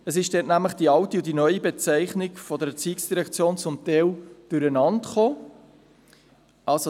Die alte und die neue Bezeichnung der ERZ sind zum Teil durcheinandergeraten.